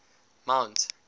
mount